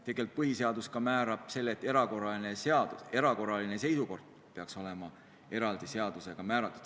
Tegelikult põhiseadus määrab ka selle, et erakorraline seisukord peaks olema eraldi seadusega reguleeritud.